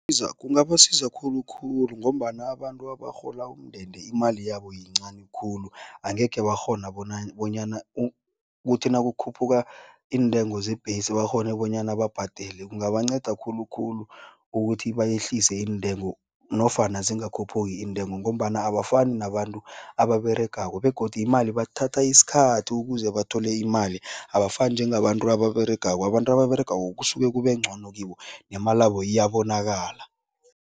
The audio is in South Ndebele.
Kungabasiza khulukhulu ngombana abantu abarhola umndende imali yabo yincani khulu, angekhe bakghona bona bonyana ukuthi nakukhuphuka iintengo zebhesi bakghone bonyana babhadele. Kungabanceda khulukhulu ukuthi bayehlise iintengo nofana zingakhuphuki iintengo ngombana abafani nabantu ababeregako begodu imali bathatha isikhathi ukuze bathole imali. Abafani njengabantu ababeregako, abantu ababeregako kusuke kubengcono kibo, nemalabo iyabonakala.